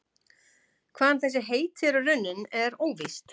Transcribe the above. Hvaðan þessi heiti eru runnin er óvíst.